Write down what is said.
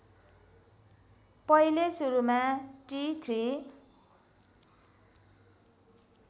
पहिले सुरुमा टि ३